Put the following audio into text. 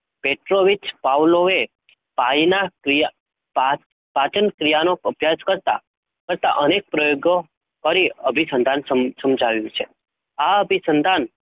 પ્રેઓવિથ વાપોએ ક્રિયા પાચન ક્રિયાનો, અભ્યાસ કરતાં, હતાં અનેક પ્રયોગો ફરી અભિસંતાંન સમજાવયુ છે? આ અભી સંતાન